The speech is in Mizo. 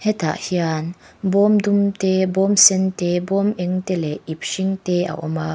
hetah hian bawm dum te bawm sen te bawm eng te leh ip hring te a awm a.